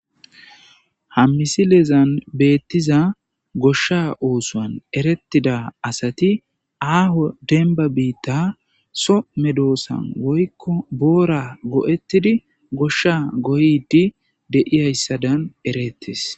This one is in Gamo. Hammisileezan beettiza goshsha oosuwan erettida asati aaho denba biitta so medoossan woykko boora go,ettidi goshsha goydi deiyayssadan erettis.